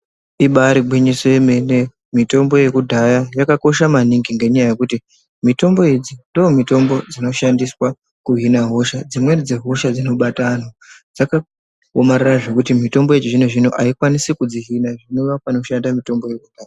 Ibaari gwinyiso remene, mitombo yekudhaya yakakosha maningi ngendaa yekuti, mitombo idzi ndomitombo dzinoshandiswa kuhina hosha .Dzimweni dzehosha dzinobata antu dzakaomarara zvekuti mitombo yechizvino-zvino haikoni kudzihina zvinoda panoshanda mitombo iyona.